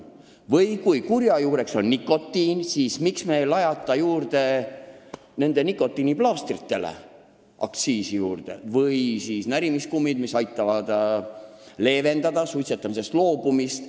Aga kui kurja juur on nikotiin, siis miks me ei lajata aktsiisi juurde nikotiiniplaastritele või närimiskummile, mis aitab suitsetamisest loobuda.